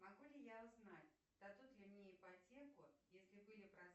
могу ли я узнать дадут ли мне ипотеку если были